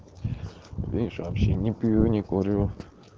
видишь вообще не пью не курю